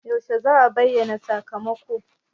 Yaushe za'a bayyana sakamako?